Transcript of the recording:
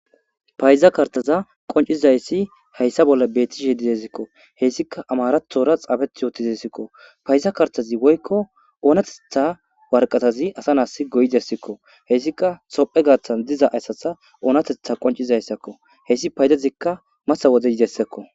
Payida kartaza qoncidays haysa bolla betishshe dizaysiko hesika amarathora xafet utidesikko payda kartaz woyikko oratha waraqatazi asa na go'izaysako hesika tophphiya gathan diza asaza onateththa qoncisizayssakko hesi paydazikka mata wode yidaysakko